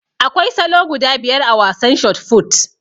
Akwai salo guda biyar a wasan shot fut